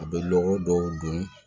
A bɛ lɔgɔ dɔw don